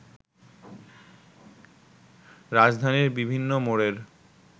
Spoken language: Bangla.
রাজধানীর বিভিন্ন মোড়ের